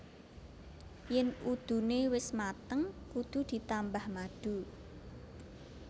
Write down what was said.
Yén udune wis mateng kudu ditambah madu